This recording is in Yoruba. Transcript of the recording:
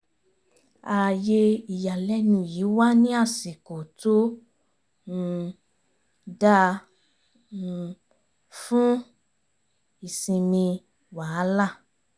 ààyè ìyàlẹ́nu yìí wá ní àsìkò tó um dáa um fún ìsinmi wàhálà